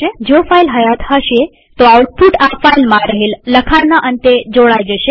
જો ફાઈલ હયાત હશે તોઆઉટપુટ આ ફાઈલમાં રહેલ લખાણના અંતે જોડાઈ જશે